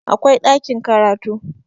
akwai ɗakin karatu